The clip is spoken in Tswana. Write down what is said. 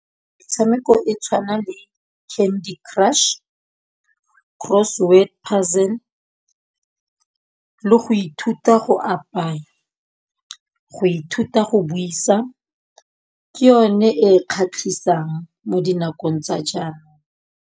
Metshameko e tshwana le Candy crush, Cross word puzzle le go ithuta go apaya, go ithuta go buisa ke yone e kgatlhisang mo dinakong tsa jaanong.